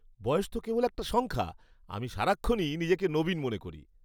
বয়স তো কেবল একটা সংখ্যা। আমি সারাক্ষণই নিজেকে নবীন মনে করি।